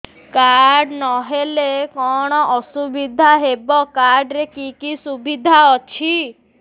card ନହେଲେ କଣ ଅସୁବିଧା ହେବ କାର୍ଡ ରେ କି କି ସୁବିଧା ଅଛି